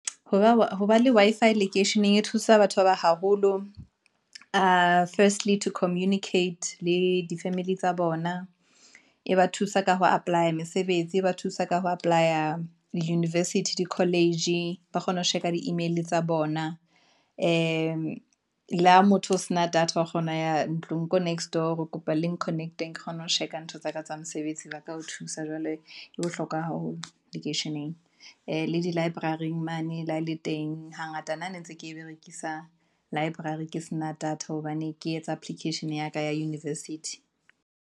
Hoba wa ho ba le Wi-Fi lekeisheneng e thusa batho ba ba haholo ho firstly communicate le di-family tsa bona, e ba thusa ka ho apply-a mesebetsi, e ba thusa ka ho apply-a di-university di college, ba kgone ho sheba di-email tsa bona. Le le ha motho o se na data wa kgona ya ntlong ko. nextdoor hore kopa leng connect-eng, ke kgone ho check a ntho tsaka tsa mosebetsi ba ka o thusa jwale bohlokwa haholo lekeisheneng. Le di-library mane le ha e le teng, hangata nna ne ntse ke berekisa library ke sena data hobane ke etsa application ya ka ya university.